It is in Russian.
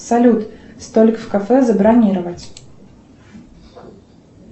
салют столик в кафе забронировать